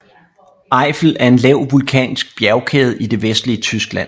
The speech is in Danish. Eifel er en lav vulkansk bjergkæde i det vestlige Tyskland